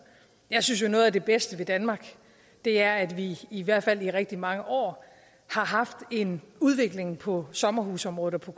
jeg synes jo at noget af det bedste ved danmark er at vi i hvert fald i rigtig mange år har haft en udvikling på sommerhusområdet og på